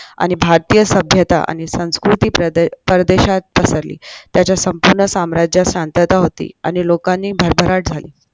आणि भारतीय सभ्यता आणि संस्कृती परदेशात पसरली त्याच्या संपूर्ण साम्राज्यात शांतात होती आणि लोकांची भरभराट झाली